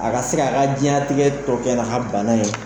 A ka se ka' ka diɲɛnatigɛ tɔ kɛ na ka bana ye.